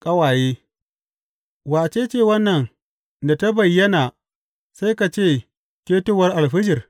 Ƙawaye Wace ce wannan da ta bayyana sai ka ce ketowar alfijir?